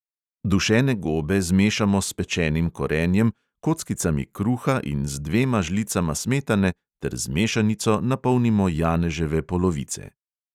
Dušene gobe zmešamo s pečenim korenjem, kockicami kruha in z dvema žlicama smetane ter z mešanico napolnimo janeževe polovice.